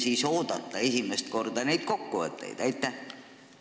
Ja millal võiksime esimest korda kokkuvõtteid oodata?